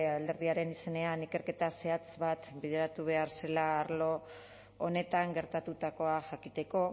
alderdiaren izenean ikerketa zehatz bat bideratu behar zela arlo honetan gertatutakoa jakiteko